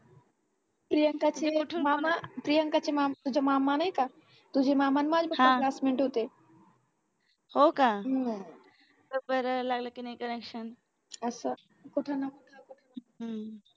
प्रियंकाचे मामा प्रियंका चे मामा तुझे मामा नाही का तुझे मामा आणि माझी पण classmate होते हम्म बघ बरं लागलं की नाही connection असं कुठं ना कुठं